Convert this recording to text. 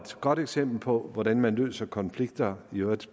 godt eksempel på hvordan man løser konflikter